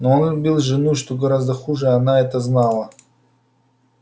но он любил жену что гораздо хуже она это знала